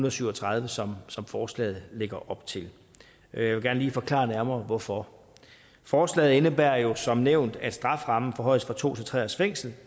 og syv og tredive som som forslaget lægger op til jeg vil gerne lige forklare nærmere hvorfor forslaget indebærer jo som nævnt at strafferammen forhøjes fra to til tre års fængsel